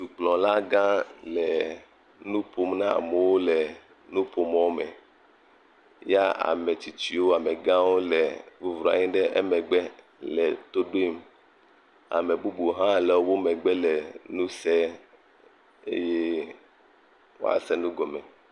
Dukplɔlagã enu ƒom na amewo le nuƒomɔ me. Ya ame tsitsiwo amegãwo le bɔbɔnɔ anyi ɖe emegbe le to ɖom. Ame bubuwo hã le wo megbe le nu sem eye woase nu gɔmee.